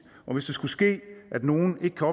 og hvis det skulle ske at nogen ikke